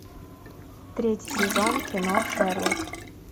третий сезон кино шерлок